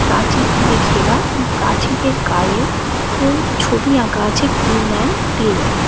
প্রাচীর দিয়ে ঘেরা প্রাচীরের গায়েও এবং ছবি আঁকা আছে টিম অ্যান্ড ক্লিন -এর।